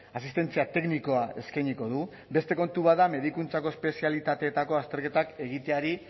asistentzia teknikoa eskainiko du beste kontu bat da medikuntzako espezialitateetako azterketak egiteari